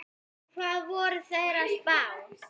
Hvað voru þeir að spá?